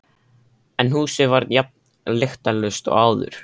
En húsið var jafn lyktarlaust og áður.